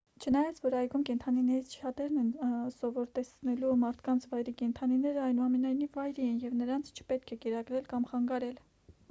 չնայած որ այգում կենդանիներից շատերն են սովոր տեսնելու մարդկանց վայրի կենդանիները այնուամենայնիվ վայրի են և նրանց չպետք է կերակրել կամ խանգարել